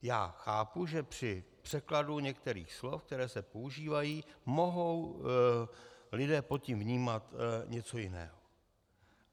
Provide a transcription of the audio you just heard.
Já chápu, že při překladu některých slov, která se používají, mohou lidé pod tím vnímat něco jiného.